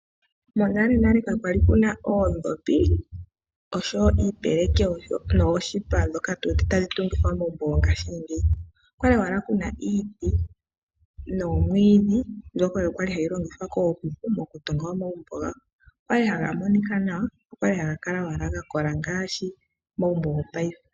Monalenale ka kwali kuna oondhopi osho wo iipeleki nooshipa dhoka tu wete tadhi tungithwa omagumbo go ngashiingeyi. Okwali owala kuna iiti noomwiidhi mbyoka oyo kwali hayi longithwa kooKuku moku tunga omagumbo gawo. Okwali haga monika nawa, okwali owala haga kala owala ga kola ngaashi omagumbo go paife.